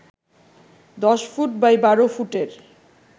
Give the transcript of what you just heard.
দশ foot by বারো ফুটের